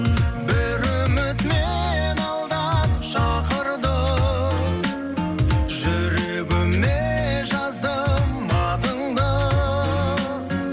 бір үміт мені алдан шақырды жүрегіме жаздым атыңды